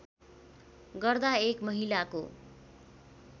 गर्दा एक महिलाको